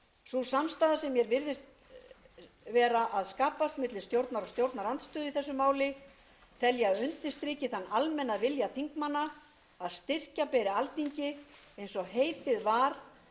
sú samstaða sem mér virðist vera að skapast milli stjórnar og stjórnarandstöðu í þessu máli tel ég að undirstriki þann almenna vilja þingmanna að styrkja beri alþingi eins og heitið var með